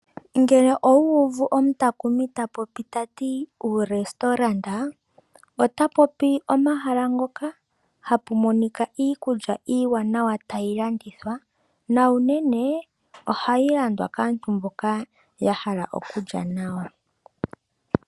Ngele owuuvu omutakumi ta popi tati “uu restaurant”, ota popi omahala ngoka hapu monika iikulya iiwanawa tayi landithwa. Na uunene ohayi landwa kaantu mboka ya hala okulya nawa.